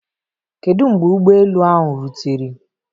Kedu mgbe ụgbọ elu ahụ rutere?